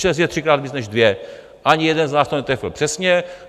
Šest je třikrát víc než dvě, ani jeden z nás to netrefil přesně.